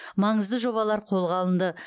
маңызды жобалар қолға алынды